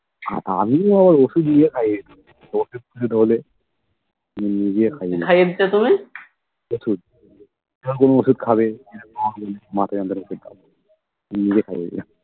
আমিও ওষুধ নিয়ে খাইয়ে দিতাম অসুখ বিসুখ হলে নিজে খাইয়ে দিতাম ওষুধ ধরো কোন ওষুধ খাবে মাথা যন্ত্রণার ওষুধ খাবে আমি নিজে খাইয়ে দিতাম